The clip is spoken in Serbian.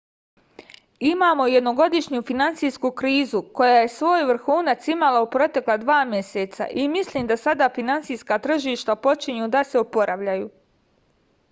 imamo jednogodišnju finansijsku krizu koja je svoj vrhunac imala u protekla dva meseca i mislim da sada finansijska tržišta počinju da se oporavljaju